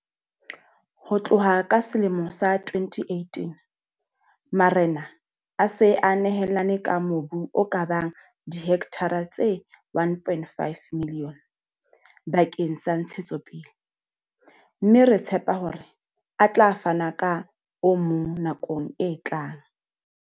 Ho tloha ka selemo sa 2018, marena a se a nehelane ka mobu o ka bang dihektara tse 1 500 000 bakeng sa ntshetsopele, mme re tshepa hore a tla fana ka o mong nakong e tlang.